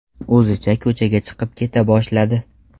O‘zicha ko‘chaga chiqib keta boshladi.